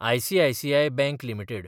ICICI bank limited